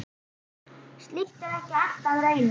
Slíkt er ekki alltaf raunin.